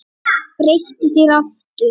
Breyttu þér aftur!